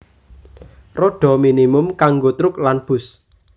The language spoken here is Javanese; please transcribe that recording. Rodha minimum kanggo truk lan bus